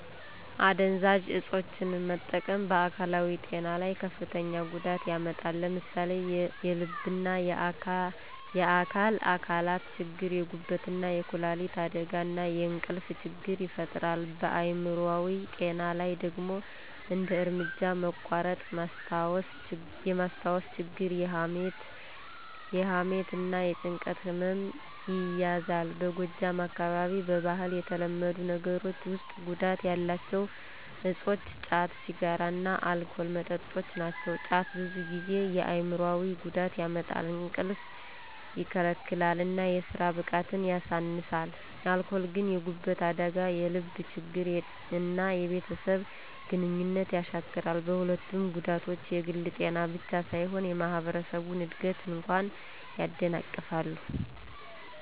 አደንዛዥ እፆችን መጠቀም በአካላዊ ጤና ላይ ከፍተኛ ጉዳት ያመጣል። ለምሳሌ የልብና የአካል አካላት ችግር፣ የጉበትና የኩላሊት አደጋ፣ እና የእንቅልፍ ችግር ይፈጥራል። በአይምሮአዊ ጤና ላይ ደግሞ እንደ እርምጃ መቋረጥ፣ ማስታወስ ችግር፣ የሐሜት እና የጭንቀት ህመም ይያዛል። በጎጃም አካባቢ በባህል የተለመዱ ነገሮች ውስጥ ጉዳት ያላቸው እፆች ጫት፣ ሲጋራ እና አልኮል መጠጦች ናቸው። ጫት ብዙ ጊዜ የአይምሮአዊ ጉዳት ያመጣል፣ እንቅልፍ ይከለክላል እና የስራ ብቃትን ያሳንሳል። አልኮል ግን የጉበት አደጋ፣ የልብ ችግር እና የቤተሰብ ግንኙነት ያሻክራል። በሁለቱም ጉዳቶች የግል ጤናን ብቻ ሳይሆን የማህበረሰብን እድገት እንኳ ያደናቅፋሉ።